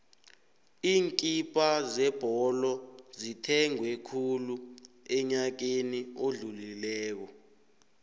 iinkipha zebholo zithengwe khulu enyakeni odlulileko